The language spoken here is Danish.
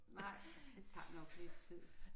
Nej det tager nok lidt tid